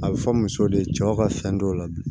A bɛ fɔ musow de ye cɛw ka fɛn dɔw la bi